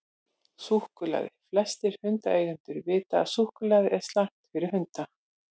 Súkkulaði: Flestir hundaeigendur vita að súkkulaði er slæmt fyrir hunda.